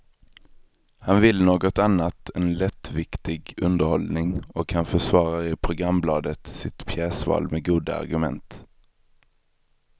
Han vill något annat än lättviktig underhållning, och han försvarar i programbladet sitt pjäsval med goda argument.